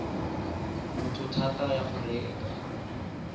motho thata ya go reka